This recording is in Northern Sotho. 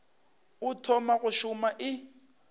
o thoma go šoma e